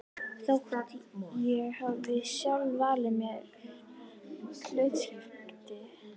Þótt ég hafi sjálf valið mér hlutskiptið.